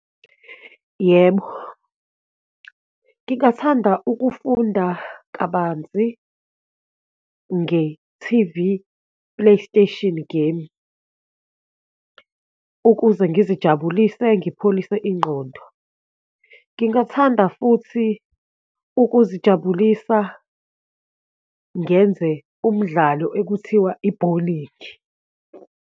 Yebo, ngingathanda ukufunda kabanzi nge-T_V Play Station game, ukuze ngizijabulise, ngipholise ingqondo, ngingathanda futhi ukuzijabulisa ngenze umdlalo ekuthiwa ibholikhi.